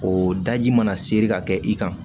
O daji mana seri ka kɛ i kan